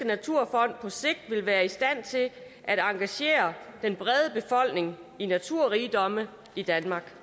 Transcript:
naturfond på sigt vil være i stand til at engagere den brede befolkning i naturrigdomme i danmark